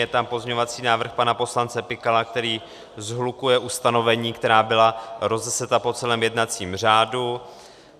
Je tam pozměňovací návrh pana poslance Pikala, který shlukuje ustanovení, která byla rozeseta po celém jednacím řádu.